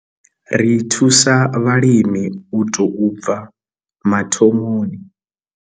Ri thusa vhalimi u tou bva mathomoni.